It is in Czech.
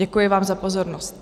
Děkuji vám za pozornost.